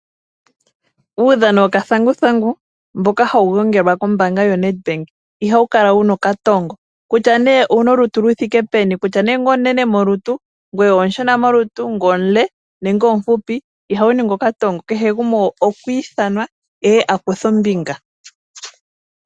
Uudhano wokathanguthangu mbok ahawu longelwa kombaanga yoNedbank ihawu kala wu na okatongo. Kutya nee owu na olutu lu thike peni, kutya nee omunene molutu, ngoye omushona molutu, ngoye omule nenge omufupi ihawu ningi okatongo. Heke gumwe okwa ithanwa e ye a kuthe ombinga.